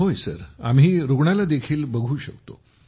होय आम्ही रुग्णाला देखील बघू शकतो